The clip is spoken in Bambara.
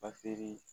Bafili